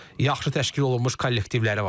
Yaxşı təşkil olunmuş kollektivləri var.